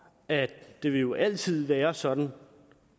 at det jo altid vil være sådan